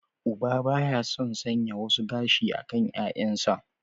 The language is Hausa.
Uba ba ya son sanya wasu gashi a kan 'ya'yansa.